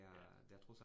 Ja